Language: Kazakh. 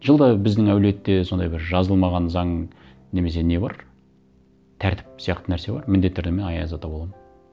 жылда біздің әулетте сондай бір жазылмаған заң немесе не бар тәртіп сияқты нәрсе бар міндетті түрде мен аяз ата боламын